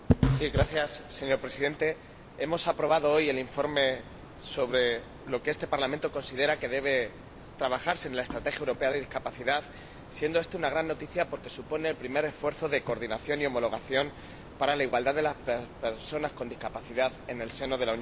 Señor Presidente, hemos aprobado hoy el informe sobre cómo este Parlamento considera que debe trabajarse en la Estrategia Europea sobre Discapacidad, siendo esto una gran noticia porque supone el primer esfuerzo de coordinación y homologación para la igualdad de las personas con discapacidad en el seno de la Unión Europea.